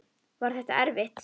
Var þetta erfitt?